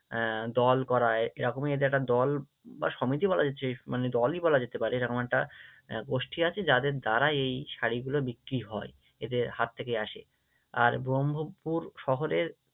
আহ দল গড়ায়, এরকমই এদের একটা দল বা সমিতি বলা যাচ্ছে, মানে দলই বলা যেতে পারে এরকম একটা আহ গোষ্ঠী আছে যাদের দ্বারা এই শাড়িগুলো বিক্রি হয়, এদের হাত থেকে আসে, আর ব্রহ্মপুর শহরের